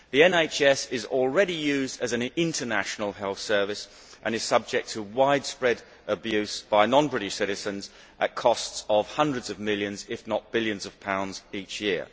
The NHS is already used as an international health service and is subject to widespread abuse by non British citizens at costs of hundreds of millions, if not billions, of pounds each year.